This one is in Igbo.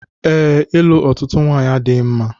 Ee, ịlụ otutu nwanyị adịghị mma